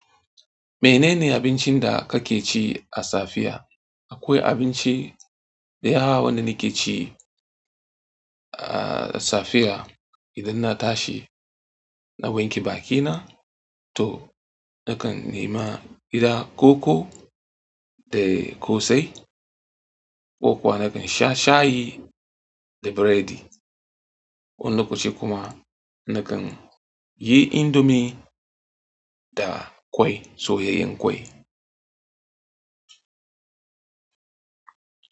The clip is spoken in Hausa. Menene abincin da kake ci a safiya? Akwai abinci da yawa wanda nake ci a safiya idan na tashi na wanke bakina to nakan nema gida koko da ƙosai, ko kuwa nakan sha shayi da biredi. Wani lokaci kuma nakan yi indomi da kwai, soyayyen kwai.